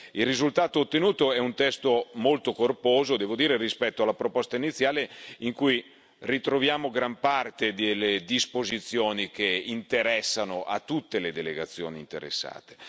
Il risultato ottenuto è un testo molto corposo, devo dire, rispetto alla proposta iniziale, in cui ritroviamo gran parte delle disposizioni che interessano a tutte le delegazioni interessate.